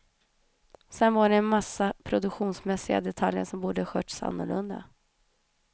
Sen var det en massa produktionsmässiga detaljer som borde skötts annorlunda.